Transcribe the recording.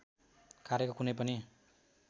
कार्यको कुनै पनि